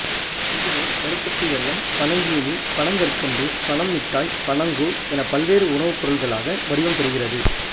இதுவே கருப்பட்டி வெல்லம் பனஞ்சீனி பனங்கற்கண்டு பனம் மிட்டாய் பனங்கூழ் எனப் பல்வேறு உணவுப் பொருள்களாக வடிவம் பெறுகிறது